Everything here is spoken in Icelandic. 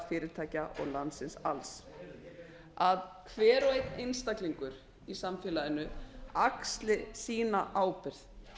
fyrirtækja og landsins alls að hver og einn einstaklingar í samfélaginu axli sína ábyrgð